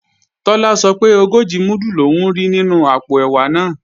Tọ́lá sọ pé ogójì múdù lòún rí nínú àpò ẹ̀wà náà